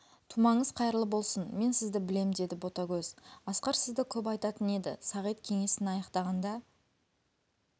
тумаңыз қайырлы болсын мен сізді білем деді ботагөз асқар сізді көп айтатын еді сағит кеңесін аяқтағанда